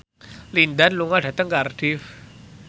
Lin Dan lunga dhateng Cardiff